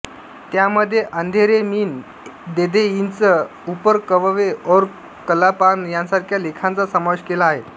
त्यामध्ये अंधेरे मीन देधे इंच उपर कववे और कला पान यांसारख्या लेखांचा समावेश केला आहेत